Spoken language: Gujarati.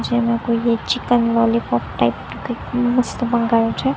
જેમા કોઈ એક ચિકન લોલીપોપ ટાઈપ નું કઈ મસ્ત મંગાવ્યું છે.